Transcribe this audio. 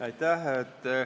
Aitäh!